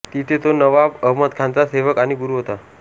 तिथे तो नवाब अहमदखानचा सेवक आणि गुरू होता